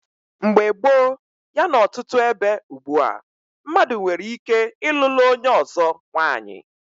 Mgbe gboo yana ọtụtụ ebe ugbua, mmadụ nwere ike ịlụlụ onye ọzọ nwanyị.